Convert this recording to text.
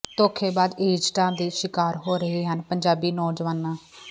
ਧੋਖੇਬਾਜ਼ ਏਜੰਟਾਂ ਦੇ ਸ਼ਿਕਾਰ ਹੋ ਰਹੇ ਹਨ ਪੰਜਾਬੀ ਨੌਜਵਾਨਾਂ